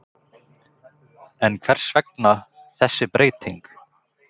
En hvers vegna þessi breyting?